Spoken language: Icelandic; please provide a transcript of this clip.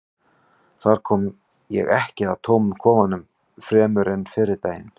þar kom ég ekki að tómum kofanum fremur en fyrri daginn